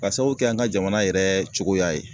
Ka sabu kɛ an ka jamana yɛrɛ cogoya ye